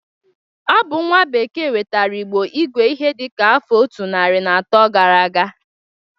Ọ bụ nwa bekee wetara Igbo igwe ihe dịka afọ otu narị na atọ gara aga.